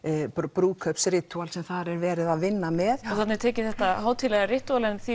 brúðkaups ritúal sem þar er verið að vinna með já þarna er tekið þetta hátíðlega ritúal en því